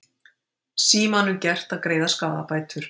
Símanum gert að greiða skaðabætur